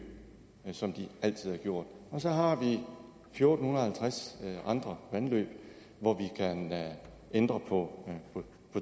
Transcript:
som de altid har gjort og så har vi fjorten halvtreds andre vandløb hvor vi kan ændre på